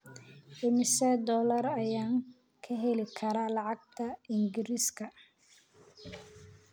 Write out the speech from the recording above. imisa dollar ayaan ka heli karaa lacagta Ingiriiska